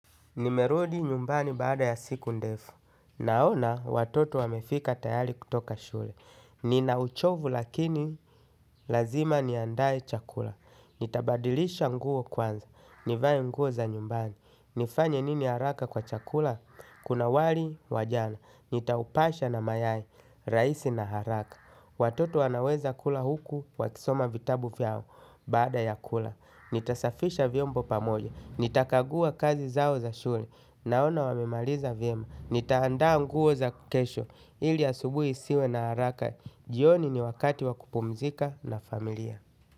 Nimerudi nyumbani baada ya siku ndefu. Naona watoto wamefika tayari kutoka shule. Ninauchovu lakini lazima niandae chakula. Nitabadilisha nguo kwanza. Nivae nguo za nyumbani. Nifanye nini haraka kwa chakula? Kuna wali wa jana. Nitaupasha na mayai, rahisi na haraka. Watoto wanaweza kula huku wakisoma vitabu vyao. Baada ya kula nitasafisha vyombo pamoja, nitakagua kazi zao za shule. Naona wamemaliza vyema, nitaandaa nguo za kesho ili asubuhi isiwe na haraka. Jioni ni wakati wa kupumzika na familia.